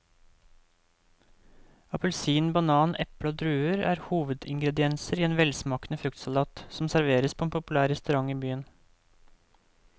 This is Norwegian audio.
Appelsin, banan, eple og druer er hovedingredienser i en velsmakende fruktsalat som serveres på en populær restaurant i byen.